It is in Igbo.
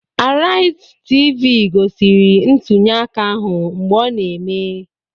Araizi Tv gosiri ntunyeaka ahụ mgbe ọ na-eme